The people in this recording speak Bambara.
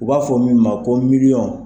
U b'a fɔ min ma ko miliyɔn.